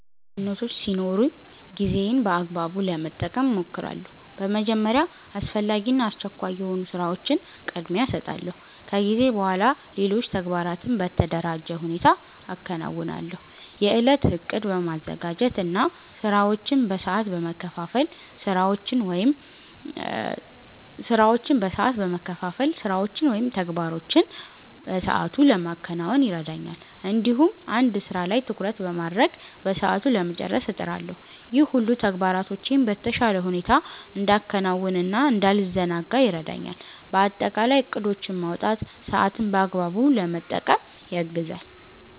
ብዙ ኃላፊነቶች ሲኖሩኝ ጊዜዬን በአግባቡ ለመጠቀም እሞክራለሁ። በመጀመሪያ አስፈላጊ እና አስቸኳይ የሆኑ ስራዎችን ቅድሚያ እሰጣለሁ። ከዚያ በኋላ ሌሎች ተግባራትን በተደራጀ ሁኔታ አከናውናለሁ። የእለት እቅድ በማዘጋጀት እና ስራዎችን በሰዓት በመከፋፈል ስራዎችን ወይም ተግባሮችን በሰአቱ ለማከናወን ይረዳኛል። እንዲሁም አንድ ስራ ላይ ትኩረት በማድረግ በሰዓቱ ለመጨረስ እጥራለሁ። ይህ ሁሉ ተግባራቶቼን በተሻለ ሁኔታ እንዳከናውን እና እንዳልዘናጋ ይረዳኛል። በአጠቃላይ እቅዶችን ማውጣት ሰአትን በአግባቡ ለመጠቀም ያግዛል።